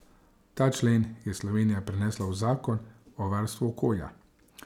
Ta člen je Slovenija prenesla v zakon o varstvu okolja.